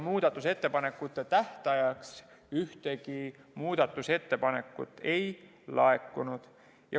Muudatusettepanekute tähtajaks ühtegi muudatusettepanekut ei laekunud.